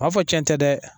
A b'a fɔ cɛn tɛ dɛ